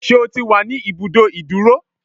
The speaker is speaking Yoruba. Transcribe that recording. Ṣé o ti wà ní ibùdó ìdúró?